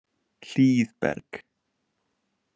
Hlíðberg